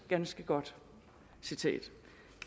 ganske godt citat